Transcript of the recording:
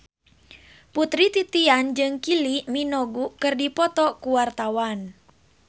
Putri Titian jeung Kylie Minogue keur dipoto ku wartawan